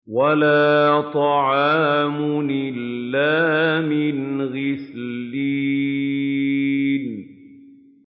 وَلَا طَعَامٌ إِلَّا مِنْ غِسْلِينٍ